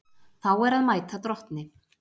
Þá er að mæta drottni.